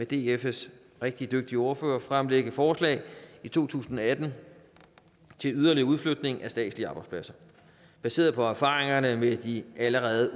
dfs rigtig dygtige ordfører fremlægge forslag i to tusind og atten til en yderligere udflytning af statslige arbejdspladser baseret på erfaringerne med de allerede